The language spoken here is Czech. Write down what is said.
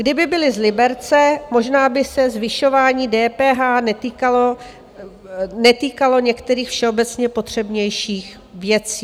Kdyby byli z Liberce, možná by se zvyšování DPH netýkalo některých všeobecně potřebnějších věcí.